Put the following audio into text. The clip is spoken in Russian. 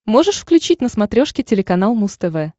можешь включить на смотрешке телеканал муз тв